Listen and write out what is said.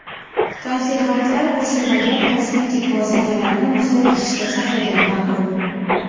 Konservantlar qo‘shilmagan kosmetik vositalarni muzlatkichda saqlagan ma’qul.